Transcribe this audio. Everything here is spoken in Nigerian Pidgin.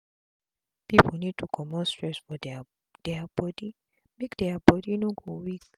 pipu need to comot stress for dia dia body make dia body no go weak